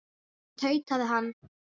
tautaði hann.